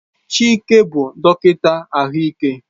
Chike bụ dọkịta ahụike.